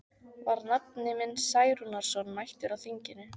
Var nafni minn Særúnarson mættur á þinginu?